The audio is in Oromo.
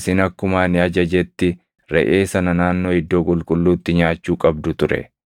isin akkuma ani ajajetti reʼee sana naannoo Iddoo Qulqulluutti nyaachuu qabdu ture.”